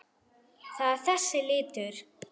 Það er þessi litur.